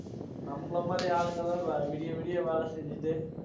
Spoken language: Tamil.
நம்மளை மாதிரி ஆளுங்க எல்லாம் வி~ விடிய விடிய வேலை செஞ்சிட்டு